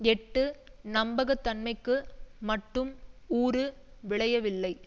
எட்டு நம்பக தன்மைக்கு மட்டும் ஊறு விளையவில்லை